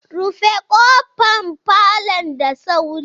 Rufe kofar falon da sauri!